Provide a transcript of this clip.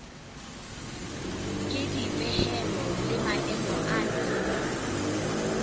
ke dipehelo le maemo ana